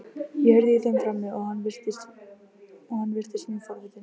Ég heyrði í þeim frammi og hann virtist mjög forvitinn.